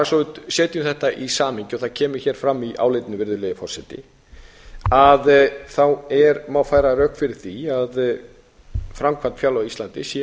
svo við setjum þetta í samhengi það kemur hér fram í álitinu virðulegi forseti má færa rök fyrir því að framkvæmd fjárlaga á íslandi sé